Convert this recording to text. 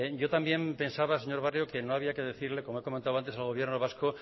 yo también pensaba señor barrio que no había que decirle como he comentado antes al gobierno vasco